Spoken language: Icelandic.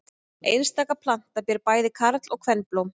Einstaka planta ber bæði karl- og kvenblóm.